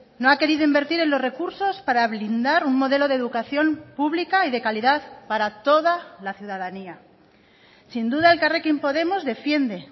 no ha querido invertir en los recursos para blindar un modelo de educación pública y de calidad para toda la ciudadanía sin duda elkarrekin podemos defiende